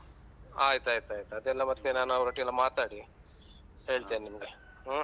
ಆಯ್ತಾಯ್ತಾಯ್ತು ಅದೆಲ್ಲ ಮತ್ತೆ ನಾನು ಅವರೊಟ್ಟಿಗೆಲ್ಲ ಮಾತಾಡಿ ಹೇಳ್ತೇನೆ ನಿಮ್ಗೆ ಹ್ಮ್.